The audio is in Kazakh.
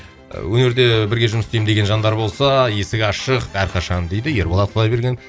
ы өнерде бірге жұмыс істеймін деген жандар болса есік ашық әрқашан дейді ерболат құдайбергенов